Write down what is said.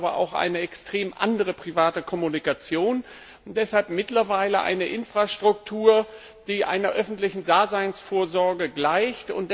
Wir haben aber auch eine extrem andere private Kommunikation, und es hat mittlerweile eine Infrastruktur, die einer öffentlichen Daseinsvorsorge gleicht.